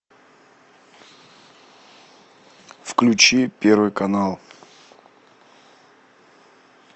включи первый канал